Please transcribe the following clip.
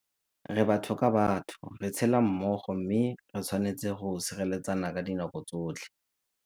Re batho ka batho, re tshela mmogo mme re tshwanetse go sireletsana ka dinako tsotlhe.